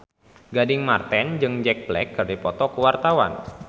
Gading Marten jeung Jack Black keur dipoto ku wartawan